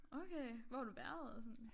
Okay hvor har du været og sådan